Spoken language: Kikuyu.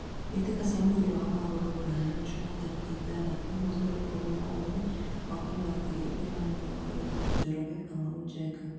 Mbĩtĩka cia mũbira wa magũrũ Ruraya Jumaa tarĩki ithathatũ mweri wa ikũmi na ĩmwe mwakainĩ wa ngiri igĩrĩ na mĩrongo ĩrĩ: Njoroge, Kamau, Njenga.